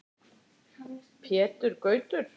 Pétur Gautur.